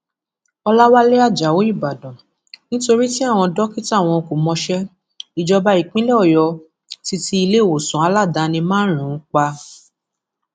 ọlàwálẹ ajáò ìbàdàn nítorí tí àwọn dókítà wọn kò mọṣẹ ìjọba ìpínlẹ ọyọ ti ti iléèwòsàn aládàáni márùnún pa